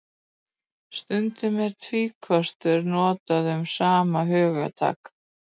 Stundum er tvíkostur notað um sama hugtak.